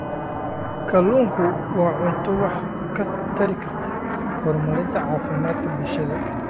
Kalluunku waa cunto wax ka tari karta horumarinta caafimaadka bulshada.